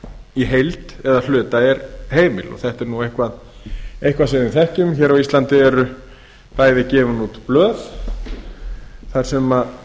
í heild eða hluta er heimil þetta er nú eitthvað sem við þekkjum hér á íslandi eru bæði gefin út blöð þar sem